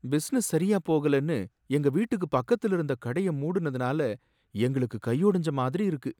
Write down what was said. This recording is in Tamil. பிசினஸ் சரியா போகலன்னு எங்க வீட்டுக்கு பக்கத்துல இருந்த கடைய மூடுனதுனால எங்களுக்கு கையொடஞ்ச மாதிரி இருக்கு.